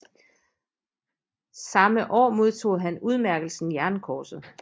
Samme år modtog han udmærkelsen Jernkorset